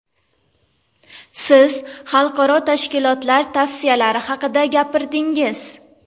Siz xalqaro tashkilotlar tavsiyalari haqida gapirdingiz.